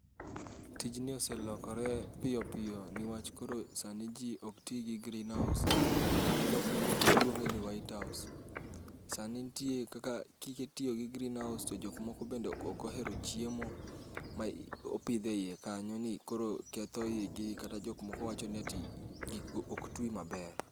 Tijni ose lokore piyo piyo niwach koro sani ji ok ti gi green house. Kata jok moko luonge ni white house. Sani nitie kaka kitiyo gi green house to jok moko bende ok ohero chiemo ma opidh eiye kanyo ni koro ketho ii gi kata jok moko wacho ni ati gigo ok twi maber.